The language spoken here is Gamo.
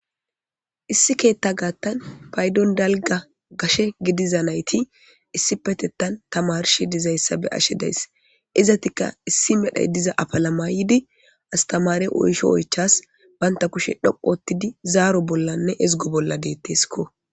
issi keetta gaattan paydon dalga gashe gidiza nayti issi petettan tamarshe dizayssa be ashe days izatika issi medhay diza apalamaydi astamare oysho oychas banta kushe dhoqottidi zaaro bollanne ezgo bolla deetteeskko